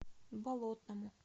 болотному